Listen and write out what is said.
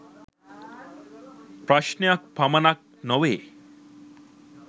ප්‍රශ්ණයක් පමණක් නොවේ.